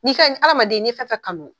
Nin fɛn in adamaden ni ye fɛn fɛn kanu